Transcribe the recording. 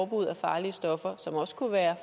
mod farlige stoffer som også kunne være